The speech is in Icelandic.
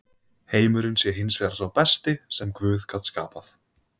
Heimurinn sé hins vegar sá besti sem guð gat skapað.